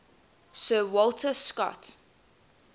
sir walter scott